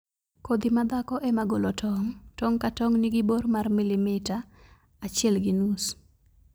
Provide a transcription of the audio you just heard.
Kodhi ma dhako ema golo tong'. Tong' ka tong' nigi bor mar milimetro achiel gi nus.